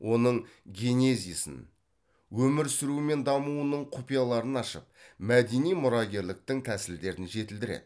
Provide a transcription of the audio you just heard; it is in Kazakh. оның генезисін өмір сүруі мен дамуының құпияларын ашып мәдени мұрагерліктің тәсілдерін жетілдіреді